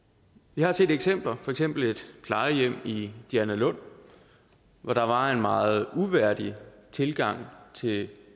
jeg har set eksempler for eksempel et plejehjem i dianalund hvor der var en meget uværdig tilgang til